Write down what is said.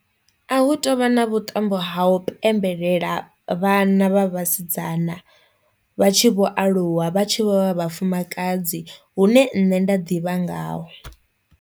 A hu tovha na vhuṱambo ha u pembelela vhana vha vhasidzana vha tshi vho aluwa vha tshi vho vha vhafumakadzi hune nṋe nda ḓivha ngaho.